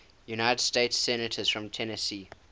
united states senators from tennessee